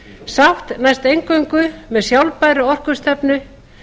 sátt næst eingöngu með sjálfbærri orkustefnu